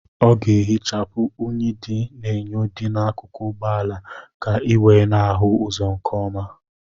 Ọ ga-ehichapụ unyi dị n'enyo dị n'akụkụ ụgbọala ka ị wee na-ahụ ụzọ nke ọma.